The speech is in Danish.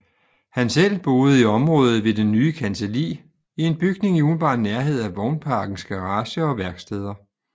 Han selv boede i området ved det nye kancelli i en bygning i umiddelbar nærhed af vognparkens garager og værksteder